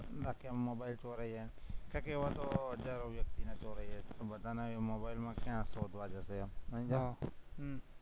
ત્યાં કે હમણાં ભાઈ ચોરાઈ એમ, તો કે એવા તો હજારો વ્યક્તિઓના ચોરાઈ જાય છે, બધાના મોબાઇલ ક્યાં શોધવા જાશું એમ હા